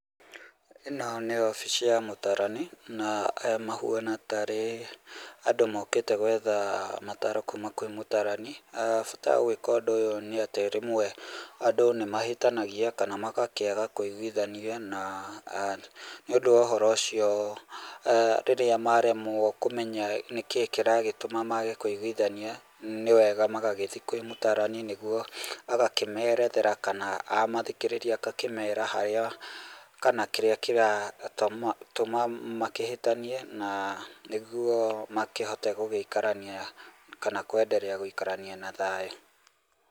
Ĩno nĩ obici ya mũtarani na aya mahuana tarĩ andũ mokite gwetha mataro kuuma kwĩ mũtarani, bata wa gwĩka ũndũ ũyũ nĩ atĩ rĩmwe andũ nĩmahĩtanagĩa kana magakĩaga kwĩigwithania na[uhh]nĩũndũ wa ũhoro ũcio ehh rĩrĩa waremwo kũmenya nĩkĩĩ kĩragĩtũma kwaga kwĩigwithania nĩwega magagĩthiĩ kwĩ mũtarani nĩgũo agakĩmerethera kana amathikĩrĩria akamera harĩa kana kĩrĩa makĩhĩtanie na nĩguo makĩhote gũikarania kana kwendelea gũikarania na thayũ.